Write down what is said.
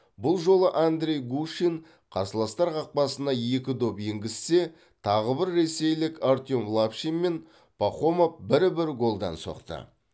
бұл жолы андрей гущин қарсыластар қақпасына екі доп енгізсе тағы бір ресейлік артем лапшин мен пахомов бір бір голдан соқты